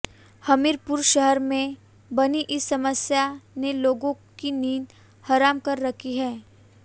हमीरपुर शहर में बनी इस समस्या ने लोगों की नींद हराम कर रखी है